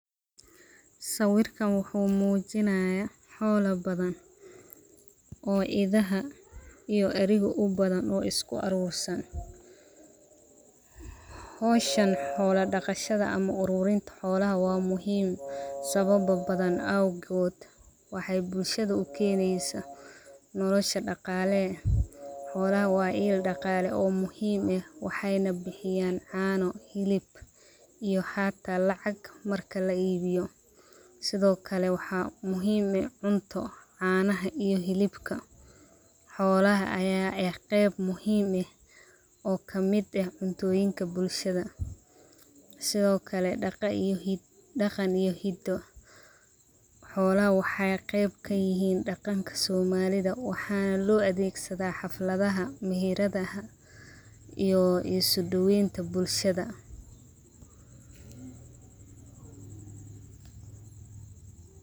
Sawirka wuxu mujinaya, xoola badan, oo idhaxa ouo arigu ubadan oo iskuarursan, xowshaan xoola daqashada ama uturinta xoola wa muxiim sawabo badan awgoot, waxay bulshada ukeneysa, nolasha daqalee eh, xoolaha wa iil daqaale oo muxiim ah, waxayna bixiyan caano, xilib iyo hataa lacag marka laibiyo, sidhokale waxa muxiim eh cunto, caanaha iyo xilibka, xoolaha aya eh, qeeb muxiim ah, oo kamid ah cuntoyinka bulshada, Sidhokale daqaan iyo hidoo, xoolaha waxay qeeb kayixin daqaanka somalida, waxana loadegsadha haflada, mihiradaha iyo isudaweynta bulshada.